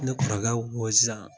Ne kɔrɔkɛ ko sisan